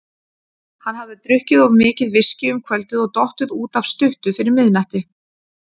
Hann hafði drukkið of mikið viskí um kvöldið og dottið út af stuttu fyrir miðnætti.